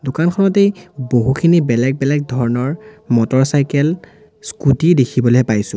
দোকানখনতেই বহুখিনি বেলেগ বেলেগ ধৰণৰ মটৰচাইকেল স্কুটী দেখিবলে পাইছোঁ।